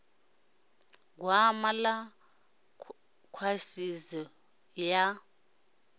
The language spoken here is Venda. ḓisa gwama ḽa khwaṱhisedzo ya